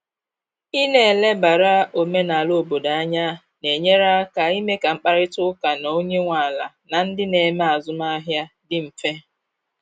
Ị na elebara omenala obodo anya na enyere aka ime ka mkparịta ụka na onye nwe ala na ndị na eme azụmahịa dị mfe.